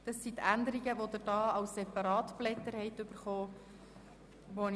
Dies sind die Änderungen, wie Sie auf den Ihnen ausgehändigten Separatblättern vorhanden sind.